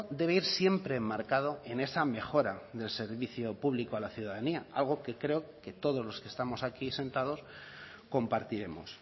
debe ir siempre enmarcado en esa mejora del servicio público a la ciudadanía algo que creo que todos los que estamos aquí sentados compartiremos